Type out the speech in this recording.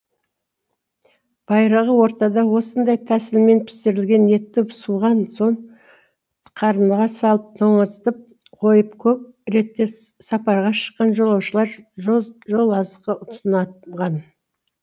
байырғы ортада осындай тәсілмен пісірілген етті суыған соң қарынға салып тоңазытып қойып көп ретте сапарға шыққан жолаушылар жол жолазыққа тұтынанған